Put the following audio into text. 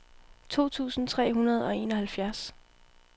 to tusind tre hundrede og enoghalvfjerds